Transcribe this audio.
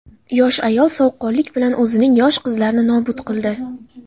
Yosh ayol sovuqqonlik bilan o‘zining yosh qizlarini nobud qildi.